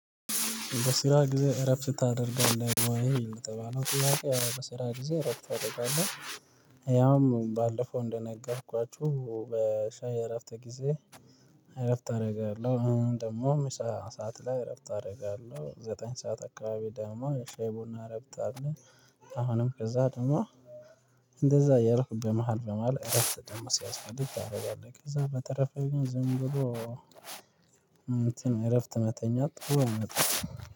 በስራ ጊዜ እረፍት ታደርጋለህ ወይ? የተባለው ጥያቄ አው በስራ ጊዜ እረፍት አደርጋለሁ። ያው ባለፈው እንደነገርኳችሁ በሻይ እረፍት ጊዜ እረፍት አደርጋለሁ። አሁን ደግሞ ምሳ ሰዓት ላይ እረፍት አደርጋለሁ። ዘጠኝ ሰዓት አካባቢ ደግሞ ሻይ ቡና እረፍት አለ አሁንም ከዛ ደግሞ እንደዛ ያረፍኩ በመሃል በመሃል እረፍት ደግሞ ሲያስፈልግ ታደርጋለህ ከዛ በተረፈው ግን ዝም ብሎ እንትን እረፍት መተኛት ጥሩ አይመጣም